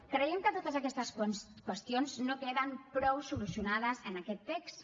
creiem que totes aquestes qüestions no queden prou solucionades en aquest text